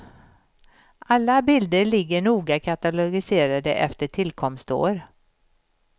Alla bilder ligger noga katalogiserade efter tillkomstår.